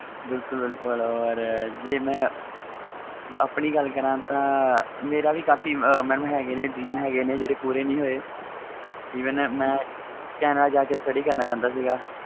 ਬਿਲਕੁਲ ਬਿਲਕੁਲ ਹੋਰ ਜੇ ਮੈਂ ਗੱਲ ਕਰਾ ਤਾ ਮੇਰਾ ਵੀ ਕਾਫੀ aams ਹੈ ਗਏ ਨੇ dream ਨੇ ਜਿਹੜੇ ਪੂਰੇ ਨਹੀ ਹੋਏ ਮੈਂ canada ਜਾ ਕੇ study ਕਰਨਾ ਚਾਹੁੰਦਾ ਸੀ